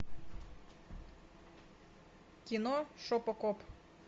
кино шопокоп